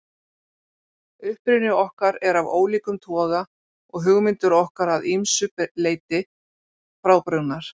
Uppruni okkar er af ólíkum toga og hugmyndir okkar að ýmsu leyti frábrugðnar.